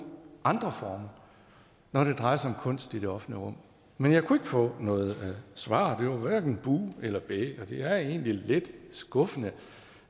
andre former når det drejer sig kunst i det offentlige rum men jeg kunne få noget svar det var hverken buh eller bæh og det er egentlig lidt skuffende